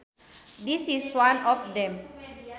This is one of them